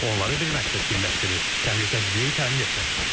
Onları bir məqsəd birləşdirir: Təhlükəsizliyi təmin etmək.